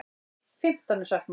Fimmtán er saknað.